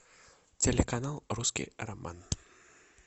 телеканал русский роман